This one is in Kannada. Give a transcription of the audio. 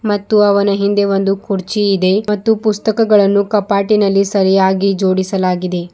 ಮತ್ತು ಅವನ ಹಿಂದೆ ಒಂದು ಕುರ್ಚಿ ಇದೆ ಮತ್ತು ಪುಸ್ತಕಗಳನ್ನು ಕಪಾಟಿನಲ್ಲಿ ಸರಿಯಾಗಿ ಜೋಡಿಸಲಾಗಿದೆ.